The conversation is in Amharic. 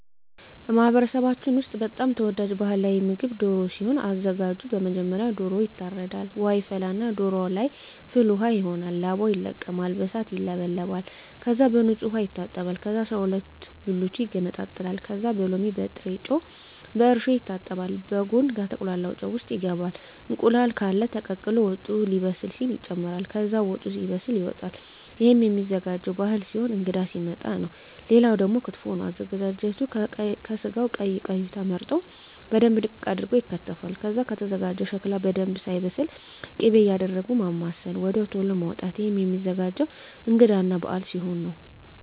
በማህበረሰባችን ውስጥ በጣም ተወዳጅ ባህላዊ ምግብ ደሮ ሲሆን አዘጋጁ መጀመሪያ ዶሮዎ ይታረዳል ውሃ ይፈላና ዶሮዎ ለይ ፍል ውሃው ይሆናል ላባው ይለቀማል በእሳት ይውለበለባል ከዛ በንጹህ ዉሃ ይታጠባል ከዛ አስራሁለት ብልቱ ይገነጣጠላል ከዛ በሎሚ በጭረጮ በእርሾ ይታጠባል በጉን ከተቁላላው ጨው ውሰጥ ይገባል እንቁላል ቃለ ተቀቅሎ ወጡ ሌበስል ሲል ይጨምራል ከዛ ወጡ ሲበስል ይወጣል እሄም ሚዘጋጀው ባህል ሲሆን እንግዳ ሲመጣ ነው ሌላው ደግሞ ክትፎ ነው አዘገጃጀቱ ከስጋው ቀይ ቀዩ ተመርጠው በደንብ ድቅቅ አርገው ይከተፋል ከዛ ከተዘጋጀው ሸክላ በደንብ ሳይበስል ክቤ እያረጉ ማማሰል ወድያው ተሎ ማዉጣት እሄም ሚዘገጀው እንግዳ እና በአል ሲሆን ነው